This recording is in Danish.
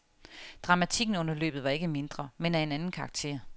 Dramatikken under løbet var ikke mindre, men af en anden karakter.